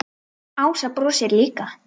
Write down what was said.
Ása brosir líka.